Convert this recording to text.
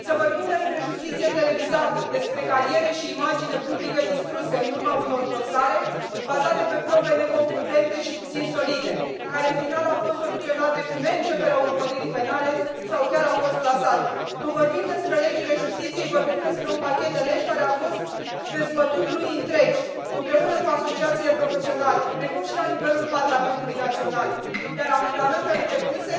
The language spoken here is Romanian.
Să vorbim despre justiție televizată, despre cariere și imagine publică distruse în urma unor dosare bazate pe probe neconcludente și puțin solide, care, în final, au fost soluționate cu neînceperea urmăririi penale sau chiar au fost clasate. Când vorbim despre legile justiției, vorbim despre un pachet de legi care a fost dezbătut luni întregi împreună cu asociațiile profesionale, precum și la nivelul Parlamentului național, iar amendamentele depuse